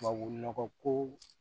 Tubabu nɔgɔ ko